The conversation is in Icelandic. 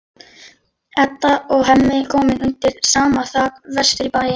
Edda og Hemmi komin undir sama þak vestur í bæ.